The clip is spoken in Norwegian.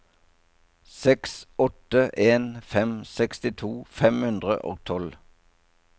seks åtte en fem sekstito fem hundre og tolv